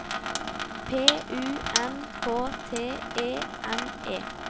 P U N K T E N E